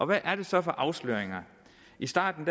hvad er det så for afsløringer i starten